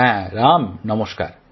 হ্যাঁ রাম নমস্কার